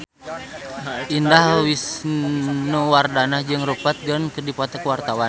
Indah Wisnuwardana jeung Rupert Grin keur dipoto ku wartawan